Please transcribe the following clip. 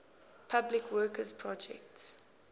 public works projects